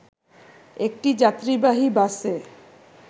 একটি যাত্রীবাহী বাসে